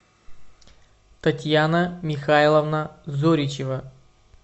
татьяна михайловна зоричева